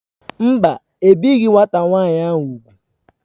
Mba, ebighị nwata nwaanyị ahụ úgwù.